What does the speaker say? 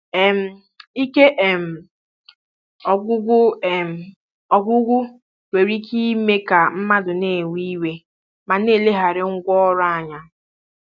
um Ike um ọgwụgwụ um ọgwụgwụ nwere ike ime ka mmadụ na-ewe iwe ma na-eleghara ngwá ọrụ anya.